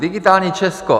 Digitální Česko.